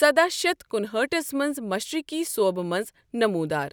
سداہ شیٛتھ کُنِہأٹھس منٛز مشرقی صوبہ منٛز نمودار۔